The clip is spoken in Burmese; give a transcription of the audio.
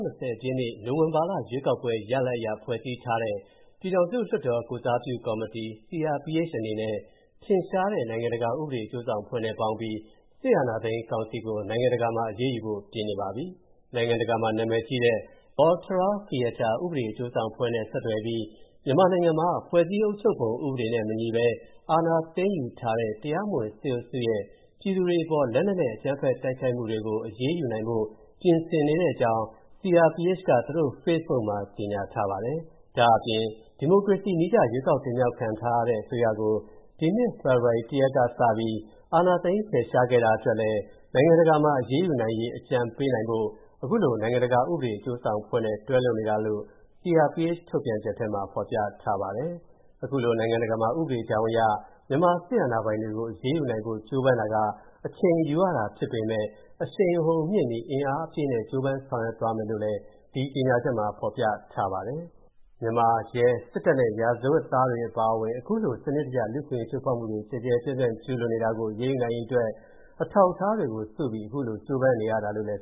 နှစ်၊ နိုဝင်ဘာလ ရွေးကောက်ပွဲရလဒ်အရ ဖွဲ့စည်းထားတဲ့ ပြည်ထောင်စုလွှတ်တော်ကိုယ်စားပြုကော်မတီ (CRPH) အနေနဲ့ ထင်ရှားတဲ့ နိုင်ငံတကာဥပဒေအကျိုးဆောင်အဖွဲ့နဲ့ပေါင်းပြီး အာဏာသိမ်း စစ်ကောင်စီကို နိုင်ငံတကာမှာ အရေးယူဖို့ပြင်နေပါပြီ။ နိုင်ငံတကာမှာ နာမည်ကြီးတဲ့ Volterra Fietta ဥပဒေအကျိုးဆောင်အဖွဲ့နဲ့ ဆက်သွယ်ပြီး မြန်မာနိုင်ငံမှာ ဖွဲ့စည်းအုပ်ချုပ်ပုံ ဥပဒေနဲ့မညီဘဲ အာဏာသိမ်းယူထားတဲ့ တရားမဝင် စစ်အုပ်စုရဲ့ ပြည်သူတွေအပေါ် လက်နက်နဲ့အကြမ်းဖက်တိုက်ခိုက်မူတွေအပေါ် အရေးယူနိုင်ဖို့ ပြင်ဆင်နေတဲ့အကြောင်း CRPH က သူတို့ဖေ့စ်ဘုတ်မှာ ကြေညာထားပါတယ်။ ဒါ့အပြင် ဒီမိုကရေစီနည်းကျ ရွေးကောက်တင်မြောက်ခံထားရတဲ့ အစိုးရကို ဒီနှစ် ဖေဖော်ဝါရီ ၁ ရက်ကစပြီး စစ်အာဏာသိမ်း ဖယ်ရှားခဲ့တာအတွက်လည်း နိုင်ငံတကာမှာ အရေးယူနိုင်ရေး အကြံပေးနိုင်ဖို့ အခုလို နိုင်ငံတကာ ဥပဒေအကျိုးဆောင်အဖွဲ့နဲ့ တွဲလုပ်နေတာလို့ CRPH ထုတ်ပြန်ချက်ထဲမှာ ဖော်ပြထားပါတယ်။ အခုလို နိုင်ငံတကာမှာ ဥပဒေကြောင်းအရ မြန်မာစစ်အာဏာပိုင်တွေကို အရေးယူနိုင်ဖို့ ကြိုးပမ်းတာက အချိန်ယူရတာဖြစ်ပေမဲ့ အရှိန်အဟုန်မြှင့်ပြီး အင်အားအပြည့်နဲ့ ကြိုးပမ်းဆောင်ရွက်သွားမယ်လို့လည်း ဒီကြေညာချက်မှာဖော်ပြထားပါတယ်။ မြန်မာ ရဲ၊စစ်တပ်နဲ့ ရာဇဝတ်သားတွေအပါအဝင် အခုလို စနစ်တကျ လူ့အခွင့်အရေးချိုးဖောက်မှုတွေ ကျယ်ကျယ်ပြန့်ပြန့် ကျူးလွန်နေတာကို အရေးယူနိုင်ရေးအတွက် အထောက်အထားတွေစုပြီး အခုလိုကြိုးပမ်းရတာလို့လည်း